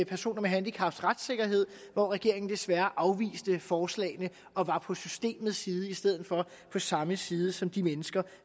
personer med handicap hvor regeringen desværre afviste forslagene og var på systemets side i stedet for at være på samme side som de mennesker